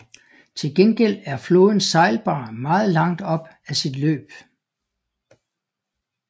Til gengæld er floden sejlbar meget langt op ad sit løb